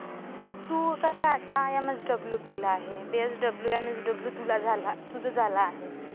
तू कसा आता एमएसडब्ल्यू केलं आहेस, बीएसडब्ल्यू, एमएसडब्ल्यू तुझं झालं आहे.